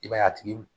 I b'a ye a tigi